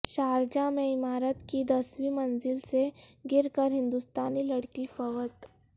Sharjah میں عمارت کی دسویں منزل سے گر کر ہندوستانی لڑکی فوت